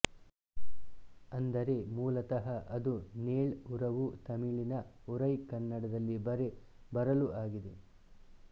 ಅಂದರೆ ಮೂಲತಃ ಅದು ನೇಳ್ ಉರವು ತಮಿಳಿನ ಉರೈ ಕನ್ನಡದಲ್ಲಿ ಬರೆ ಬರಲು ಆಗಿದೆ